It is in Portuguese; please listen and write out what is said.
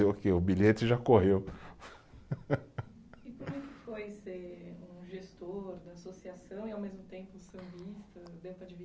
Fazer o quê, o bilhete já correu, e como é que foi ser um gestor da associação e, ao mesmo tempo, sambista